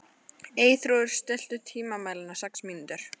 Eyþrúður, stilltu tímamælinn á sex mínútur.